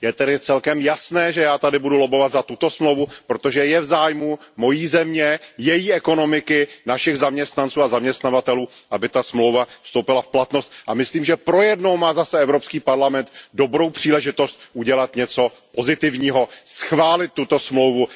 Je tedy celkem jasné, že já tady budu lobbovat za tuto dohodu, protože je v zájmu mojí země, její ekonomiky, našich zaměstnanců a zaměstnavatelů, aby ta dohoda vstoupila v platnost, a myslím, že pro jednou má zase Evropský parlament dobrou příležitost udělat něco pozitivního, schválit tuto dohodu.